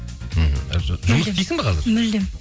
мхм жұмыс істейсің бе қазір мүлдем